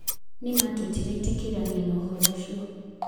Nĩma tũtiretĩkanĩria na ũhoro ũcio.